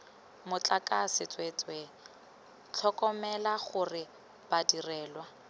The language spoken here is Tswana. motlakase tsweetswe tlhokomela gore badirelwa